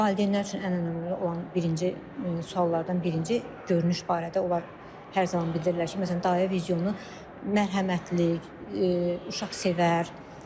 Valideynlər üçün ən önəmli olan birinci suallardan birinci, davranış barədə onlar hər zaman bildirirlər ki, məsələn dayə vizionu mərhəmətlik, uşaq sevər.